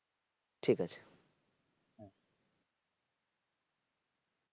ঠিক আছে।